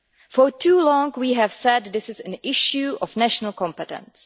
For too long, we have said this is an issue of national competence.